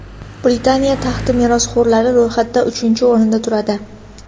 Britaniya taxti merosxo‘rlari ro‘yxatida uchinchi o‘rinda turadi.